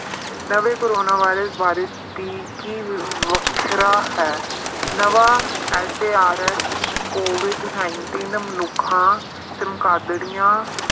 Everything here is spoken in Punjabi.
ਨਵੇਂ ਕੋਰੋਨਾ ਵਾਇਰਸ ਬਾਰੇ ਦੇ ਕੀ ਵੱਖਰਾ ਹੈ ਨਵਾਂ SARS, COVID nineteen ਮਨੁੱਖਾਂ ਚਮਗਾਦੜਿਆਂ